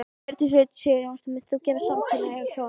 Hjördís Rut Sigurjónsdóttir: Munt þú gefa saman samkynhneigð hjón?